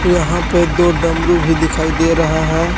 यहां पे दो डमरू भी दिखाई दे रहा है।